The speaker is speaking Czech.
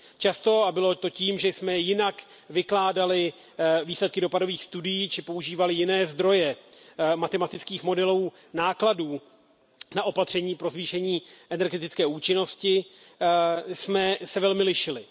Často, a bylo to tím, že jsme jinak vykládali výsledky dopadových studií, či používali jiné zdroje matematických modelů nákladů na opatření pro zvýšení energetické účinnosti, jsme se velmi lišili.